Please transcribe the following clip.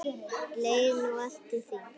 Leið nú allt til þings.